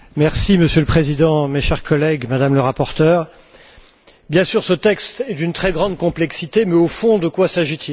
Monsieur le Président, mes chers collègues, Madame le rapporteur, bien sûr, ce texte est d'une très grande complexité mais, au fond, de quoi s'agit il?